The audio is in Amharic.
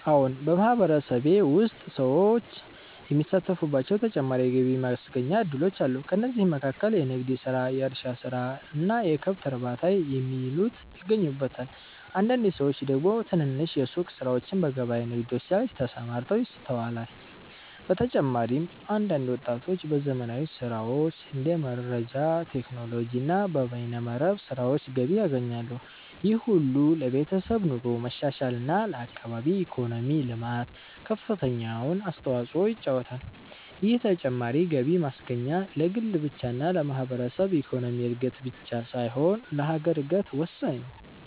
አዎን !በማህበረሰቤ ውስጥ ሰዎች የሚሳተፉባቸው ተጨማሪ የገቢ ማስገኛ እድሎች አሉ። ከእነዚህም መካከል የንግድ ስራ፣ የእርሻ ስራ እና የከብት እርባታ የሚሉት ይገኙበታል። አንዳንድ ሰዎች ደግሞ ትንንሽ የሱቅ ስራዎችና በገበያ ንግዶች ላይ ተሰማርተው ይስተዋላል። በተጨማሪም አንዳንድ ወጣቶች በዘመናዊ ስራዎች እንደ መረጃ ቴክኖሎጂ እና በበይነ መረብ ስራዎች ገቢ ያገኛሉ። ይህ ሁሉ ለቤተሰብ ኑሮ መሻሻል እና ለአካባቢ ኢኮኖሚ ልማት ከፍተኛውን አስተዋጽኦ ይጫወታሉ። ይህ ተጨማሪ ገቢ ማስገኛ ለግል ብቻ እና ለማህበረሰብ ኢኮኖሚ እድገት ብቻ ሳይሆን ለሀገር እድገት ወሳኝ ነው።